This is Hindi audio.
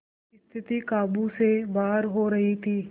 स्थिति काबू से बाहर हो रही थी